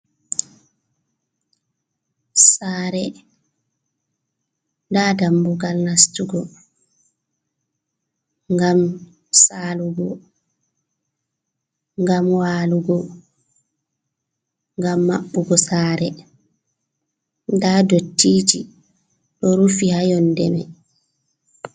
Saare, nda dambugal nastugo, ngam saalugo, ngam walugo, ngam maɓɓugo sare, nda dottiji ɗo rufi ha yonde mai.